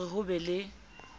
ho re ho be le